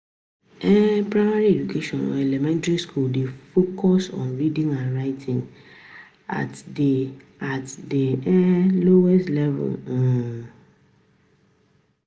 um Primary education or elementry school dey focus on reading and writing at the at the um lowest level um